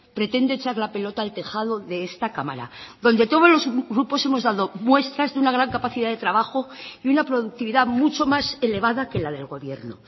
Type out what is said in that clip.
pretende echar la pelota al tejado de esta cámara donde todos los grupos hemos dado muestras de una gran capacidad de trabajo y una productividad mucho más elevada que la del gobierno